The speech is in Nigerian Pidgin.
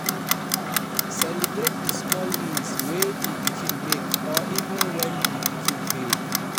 Celebrate di small wins wey di pikin make or even when di pikin fail